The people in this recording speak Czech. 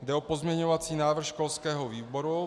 Jde o pozměňovací návrh školského výboru.